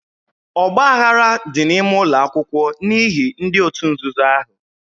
Ọgbaaghara dị n'ime ụlọ akwụkwọ n'ihi ndị òtù nzuzo ahụ.